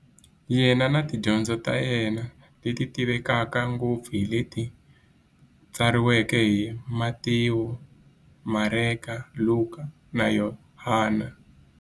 Yena na tidyondzo ta yena, leti tivekaka ngopfu hi leti tsariweke hi-Matewu, Mareka, Luka, na Yohani.